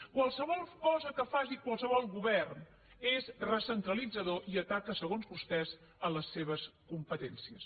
qualsevol cosa que faci qualsevol govern és recentralitzadora i ataca segons vostès les seves competències